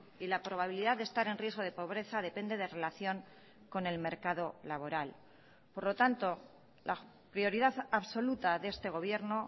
y la probabilidad de estar en riesgo de pobreza depende de relación con el mercado laboral por lo tanto la prioridad absoluta de este gobierno